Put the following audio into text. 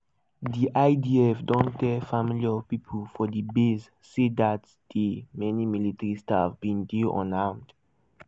di idf don tell families of pipo for di base say dat day many military staff bin dey unarmed.